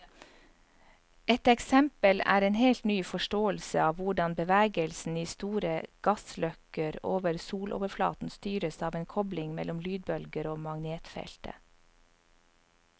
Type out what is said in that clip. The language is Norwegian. Et eksempel er en helt ny forståelse av hvordan bevegelsen i store gassløkker over soloverflaten styres av en kobling mellom lydbølger og magnetfeltet.